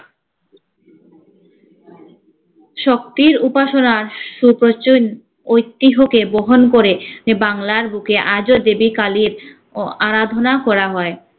শক্তির উপাসনা ঐতিহ্যকে বহন করে হে বাংলার বুকে আজো দেবী কালির ও আরাধনা করা হয়।